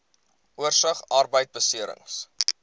oorsig arbeidbeserings